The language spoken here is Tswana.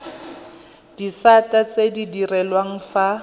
disata tse di direlwang fa